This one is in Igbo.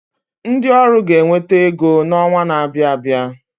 Ndi ọrụ ga-enweta ego n’ọnwa na-abịa abịa